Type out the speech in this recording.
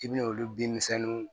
I bi na olu binmisɛnninw